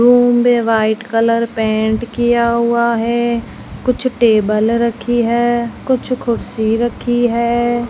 Room में white colour paint किया हुआ है कुछ टेबल रखी है कुछ कुर्सी रखी है।